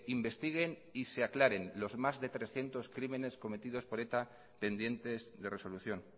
investiguen y se aclaren los más de trescientos crímenes cometidos por eta pendientes de resolución